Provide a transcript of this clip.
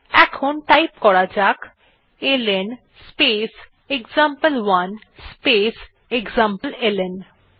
এখন টাইপ করা যাক এলএন স্পেস এক্সাম্পল1 স্পেস এক্সামপ্লেলন